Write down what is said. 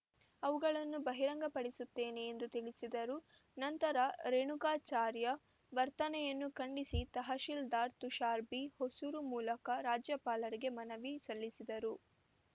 ಅವುಗಳನ್ನು ಬಹಿರಂಗಪಡಿಸುತ್ತೇನೆ ಎಂದು ತಿಳಿಸಿದರು ನಂತರ ರೇಣುಕಾಚಾರ್ಯ ವರ್ತನೆಯನ್ನು ಖಂಡಿಸಿ ತಹಸೀಲ್ದಾರ್‌ ತುಷಾರ್‌ಬಿ ಹೊಸೂರು ಮೂಲಕ ರಾಜ್ಯಪಾಲರಿಗೆ ಮನವಿ ಸಲ್ಲಿಸಿದರು